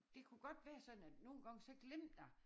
Det kunne godt være sådan at nogen gange så glemte jeg